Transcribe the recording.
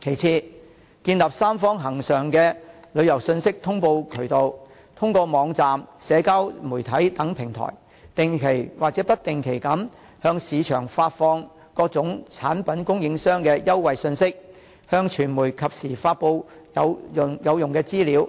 其次，建立三方恆常的旅遊信息通報渠道，通過網站、社交媒體等平台，定期或不定期的向市場發放各產品供應商的優惠信息，向傳媒及時發布有用的資料，